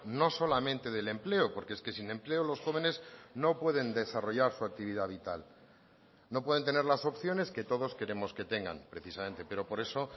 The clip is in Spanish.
no solamente del empleo porque es que sin empleo los jóvenes no pueden desarrollar su actividad vital no pueden tener las opciones que todos queremos que tengan precisamente pero por eso